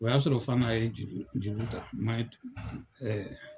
O y'a sɔrɔ fana a ye juru juru ta na tun